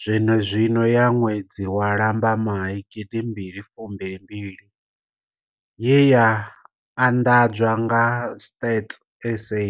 zwenezwino ya ṅwedzi wa Lambamai 2022 ye ya anḓadzwa nga Stats SA.